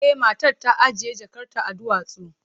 E, matar ta ajiye jakarta akan duwatsu.